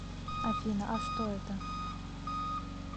афина а что это